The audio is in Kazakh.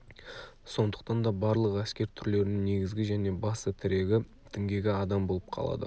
сондықтан да барлық әскер түрлерінің негізгі және басты тірегі діңгегі адам болып қалады